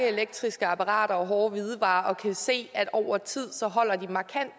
elektriske apparater og hårde hvidevarer og kan se at over tid holder de markant